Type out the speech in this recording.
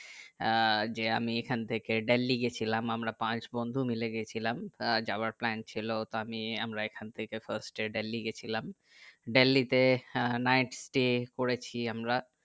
আহ যে আমি এখন থেকে দিল্লি গেছিলাম আমরা পাঁচ বন্ধু মিলে গেছিলাম আহ যাবার plan ছিল তা আমি আমরা এখান থেকে first এ দিল্লি গেছিলাম দিল্লি তে night stay করেছি আমরা